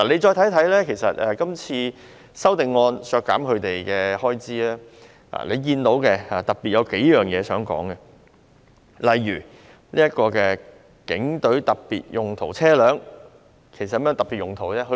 今次修正案提出削減部門開支，當中有數點我想特別提出，例如警隊特別用途車輛，其實有何特別用途呢？